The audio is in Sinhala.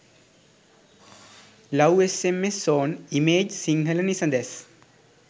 love sms zone image sinhala nisadas